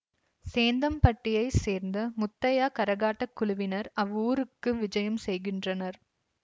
சேந்தம்பட்டியைச் சேர்ந்த முத்தையா கரகாட்டக் குழுவினர் அவ்வூருக்கு விஜயம் செய்கின்றனர்